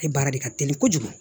Ale baara de ka teli kojugu